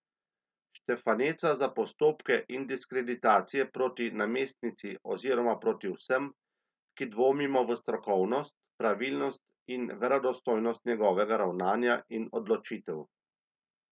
Štefaneca za postopke in diskreditacije proti namestnici oziroma proti vsem, ki dvomimo v strokovnost, pravilnost in verodostojnost njegovega ravnanja in odločitev.